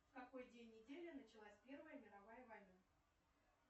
в какой день недели началась первая мировая война